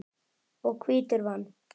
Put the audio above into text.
og hvítur vann.